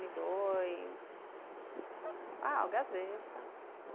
Um e dois, ah, o Gazeta.